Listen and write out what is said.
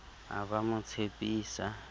a ba a mo tshepisa